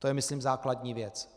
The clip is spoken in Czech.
To je myslím základní věc.